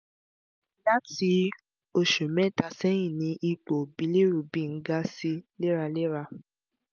lati oṣù mẹ́ta sẹ́yìn ni ipò bilirubin ń ga sí i léraléra